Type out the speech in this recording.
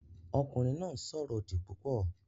Ọkùnrin náà ń sọ̀rọ̀ òdì púpọ̀